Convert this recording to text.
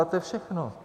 A to je všechno.